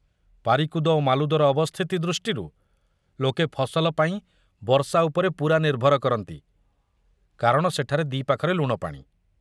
ପାରିକୁଦ ଓ ମାଲୁଦର ଅବସ୍ଥିତି ଦୃଷ୍ଟିରୁ ଲୋକେ ଫସଲ ପାଇଁ ବର୍ଷା ଉପରେ ପୂରା ନିର୍ଭର କରନ୍ତି କାରଣ ସେଠାରେ ଦି ପାଖରେ ଲୁଣପାଣି।